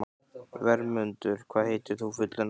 Vermundur, hvað heitir þú fullu nafni?